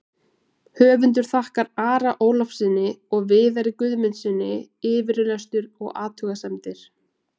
Höfundur þakkar Ara Ólafssyni og Viðari Guðmundssyni yfirlestur og athugasemdir.